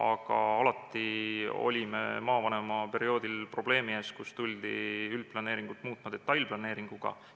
Aga alati olin ma maavanemaperioodil probleemi ees, et tuldi üldplaneeringut muutma detailplaneeringuga.